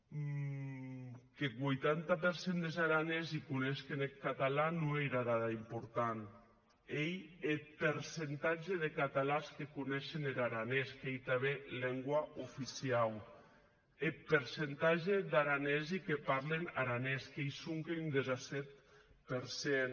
qu’eth vuitanta per cent des aranesi coneishen eth catalan non ei era dada importanta n’ei eth percentatge de catalans que coneishen er aranés qu’ei tanben lengua oficiau eth percentatge d’aranesi que parlen aranés qu’ei sonque un disset per cent